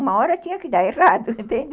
Uma hora tinha que dar errado, entende?